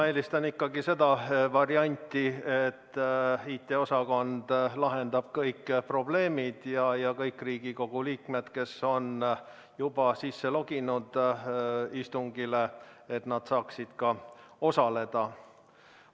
Ma eelistan ikkagi seda varianti, et IT-osakond lahendab kõik probleemid ja kõik Riigikogu liikmed, kes on end sisse loginud, saavad ka osaleda.